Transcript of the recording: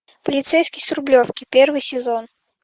полицейский с рублевки первый сезон